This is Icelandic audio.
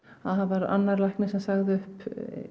það var annar læknir sem sagði upp